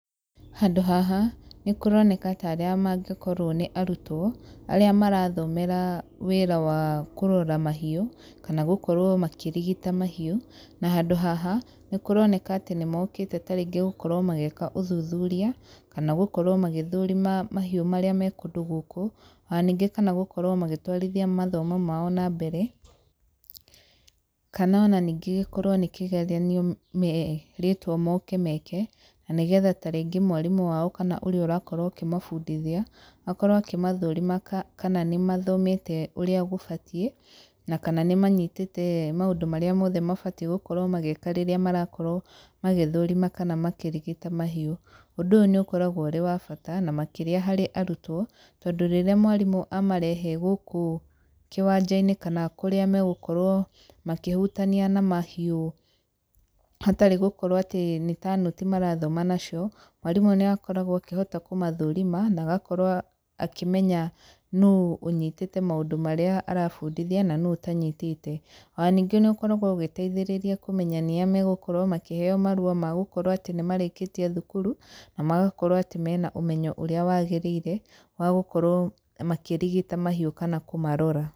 Handũ haha, nĩ kũroneka ta arĩa mangĩkorwo nĩ arutwo, arĩa marathomera wĩra wa kũrora mahiũ, kana gũkorwo makĩrigita mahiũ. Na handũ haha, nĩ kũroneka atĩ nĩ mokĩte tarĩngĩ gũkorwo magĩka ũthuthuria, kana gũkorwo magĩthũrima mahiũ marĩa me kũndũ gũkũ. Ona ningĩ kana gũkorwo magĩtwarithia mathomo mao na mbere, kana ona ningĩ gĩkorwo nĩ kĩgeranio merĩtwo moke meke, na nĩgetha tarĩngĩ mwarimũ wao kana ũrĩa ũrakorwo ũkĩmabundithia, akorwo akĩmathũrima kana nĩ mathomete ũrĩa gũbatiĩ, na kana nĩ manyitĩte maũndũ marĩa mothe mabatiĩ gũkorwo magĩka rĩrĩa marakorwo magĩthũrima kana makĩrigita mahiũ. Ũndũ ũyũ níĩũkoragwo ũrĩ wa bata, na makĩria harĩ arutwo, tondũ rĩrĩa mwarimũ amarehe gũkũ kĩwanja-inĩ kana kũrĩa megũkorwo makĩhutania na mahiũ hatarĩ gũkorwo atĩ nĩ ta nũti marathoma nacio, mwarimũ nĩ akoragwo akĩhota kũmathũrima, na agakorwo akĩmenya nũũ ũnyitĩte maũndũ marĩa arabundithia, na nũũ ũtanyitĩte. Ona ningĩ nĩ ũkoragwo ũgĩteithĩrĩria kũmenya nĩ a megũkorwo makĩheeo marũa ma gũkorwo atĩ nĩ marĩkĩtie thukuru, na magakorwo atĩ mena ũmenyo ũrĩa wagĩrĩire, wa gũkorwo makĩrigita mahiũ kana kũmarora.